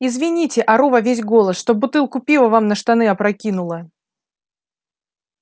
извините ору во весь голос что бутылку пива вам на штаны опрокинула